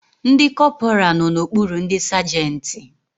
Ndi kọpura no n'okpuru ndi sagenti